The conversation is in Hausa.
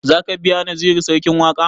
Za ka biya naziru sarkin waƙa?